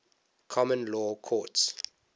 common law courts